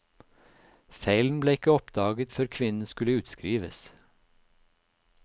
Feilen ble ikke oppdaget før kvinnen skulle utskrives.